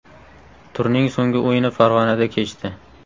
Turning so‘nggi o‘yini Farg‘onada kechdi.